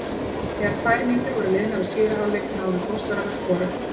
Þegar tvær mínútur voru liðnar af síðari hálfleik náðu Þórsarar að skora.